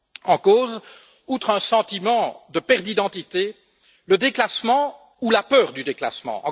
En cause, outre un sentiment de perte d'identité, le déclassement ou la peur du déclassement.